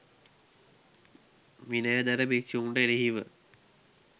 විනයධර භික්ෂුන්ට එරෙහිව